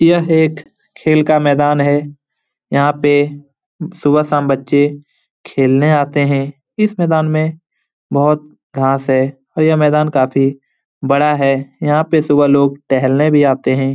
यह एक खेल का मैदान है। यहाँ पे सुबह-शाम बच्चे खेलने आते हैं। इस मैदान में बहुत घास है और ये मैदान काफी बड़ा है। यहाँ पे सुबह लोग टहलने भी आते हैं।